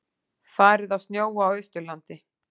Farið að snjóa á Austurlandi